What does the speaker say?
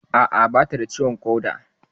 A'a, bata da ciwon ƙoda